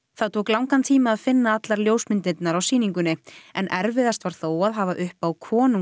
það tók langan tíma að finna allar myndirnar á sýningunni en erfiðast var þó að hafa uppi á